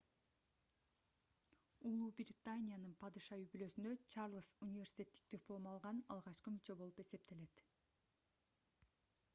убнын падыша үй-бүлөсүндө чарльз университеттик диплом алган алгачкы мүчө болуп эсептелет